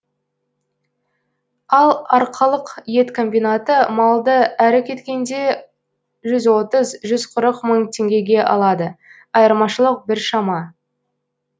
ал арқалық ет комбинаты малды әрі кеткенде жүз отыз жүз қырық мың теңгеге алады айырмашылық біршама